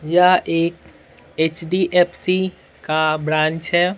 या एक एचडीएफसी का ब्रांच है।